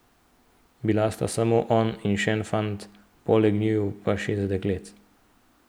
Bila sta samo on in še en fant, poleg njiju pa šest deklet.